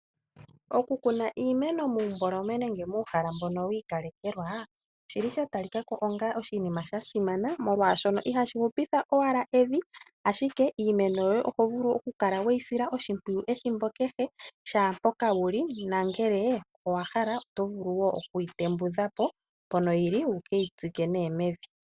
Oku kuna iimeno muumboloma nenge muuhala mbono wa ikalekelwa, oshili sha talika ko onga oshinima sha simana, molwaashono ihashi hupitha owala evi, ashike iimeno yoye oho vulu oku kala weyi sila oshimpwiyu ethimbo kehe, kehe mpoka wuli, nongele owahala oto vulu wo okuyi tembudhapo mpoka yili, wukeyi tsike mevi.